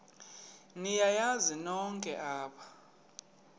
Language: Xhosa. niyazi nonk apha